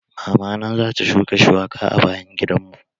Mama na za ta shuka shuwaka a bayan gidan mu.